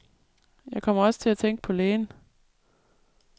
Jeg kommer også til at tænke på lægen.